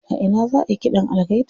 A ina za ayi ƙidan algaita?